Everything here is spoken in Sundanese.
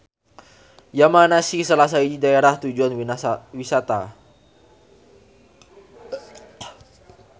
Yamanashi salah sahiji daerah tujuan wisata.